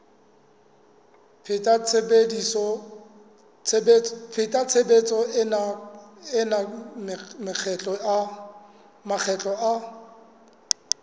pheta tshebetso ena makgetlo a